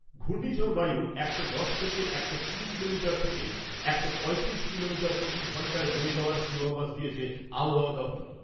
ঘূর্ণিঝড় বায়ুর একশো দশ থেকে একশো কুড়ি কিলোমিটার থেকে একশো পঁয়ত্রিশ কিলোমিটার প্রতি ঘন্টায় বয়ে যাওয়ার পূর্বাভাস দিয়েছে আবহাওয়া দপ্তর।